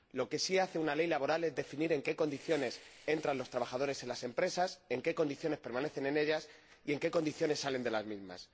Lo que sí hace una ley laboral es definir en qué condiciones entran los trabajadores en las empresas, en qué condiciones permanecen en ellas y en qué condiciones salen de las mismas.